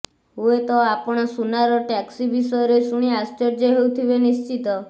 ହୁଏତ ଆପଣ ସୁନାର ଟ୍ୟାକ୍ସି ବିଷୟରେ ଶୁଣି ଆଶ୍ଚର୍ଯ୍ୟ ହେଉଥିବେ ନିଶ୍ଚିତ